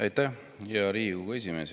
Aitäh, hea Riigikogu esimees!